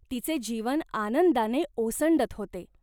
तिचे जीवन आनंदाने ओसंडत होते.